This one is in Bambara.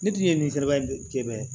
Ne tun ye min kala k'e bɛ